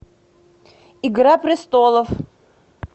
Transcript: игра престолов